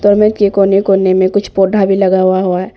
Door mat के कोने कोने में कुछ पौधा भी लगा हुआ हुआ है।